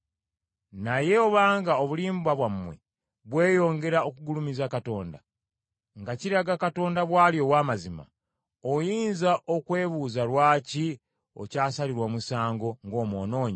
Naye obanga obulimba bwammwe bweyongera okugulumiza Katonda, nga kiraga Katonda bw’ali ow’amazima, oyinza okwebuuza lwaki okyasalirwa omusango ng’omwonoonyi?